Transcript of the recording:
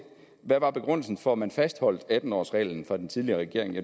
hvad var begrundelsen for at man fastholdt atten årsreglen fra den tidligere regerings